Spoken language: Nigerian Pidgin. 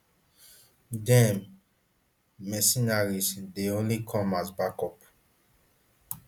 dem [di mercenaries] dey only come as backup